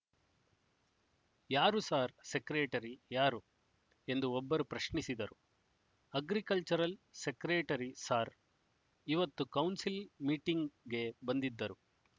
ಯಾರು sir secretary ಯಾರು ಎಂದು ಒಬ್ಬರು ಪ್ರಶ್ನಿಸಿದರು ಅಗ್ರಿಕಲ್ಚರಲ್ ಸೆಕ್ರೆಟರಿ ಸಾರ್ ಇವತ್ತು ಕೌನ್ಸಿಲ್ ಮೀಟಿಂಗ್‍ಗೆ ಬಂದಿದ್ರು